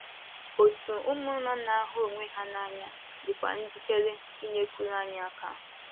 Òtù ụmụnna na - ahụ onwe ha n’anya dịkwa njikere inyekwuru anyị aka.